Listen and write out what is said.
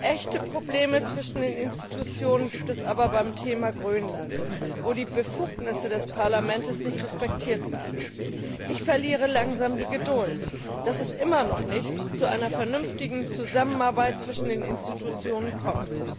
Echte Probleme zwischen den Institutionen gibt es aber beim Thema Grönland, wo die Befugnisse des Parlaments nicht respektiert werden. Ich verliere langsam die Geduld, dass es immer noch nicht zu einer vernünftigen Zusammenarbeit zwischen den Institutionen kommt.